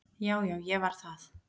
Já já, ég var það.